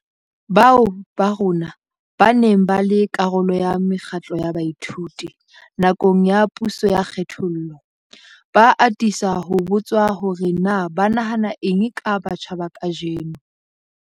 Bao ba rona ba neng ba le karolo ya mekgatlo ya baithuti nakong ya puso ya kgethollo, ba atisa ho botswa hore na ba nahana eng ka batjha ba kajeno.